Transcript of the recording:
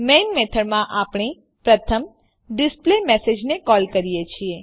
main મેથડમાં આપને પ્રથમ ડિસ્પ્લેમેસેજ ને કોલ કરી છે